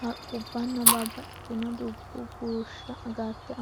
Haqqubbanna babbaxxitino dubbuwa bushsha agarte